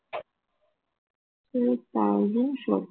two thousand four